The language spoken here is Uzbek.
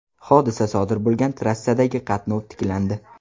Hodisa sodir bo‘lgan trassadagi qatnov tiklandi.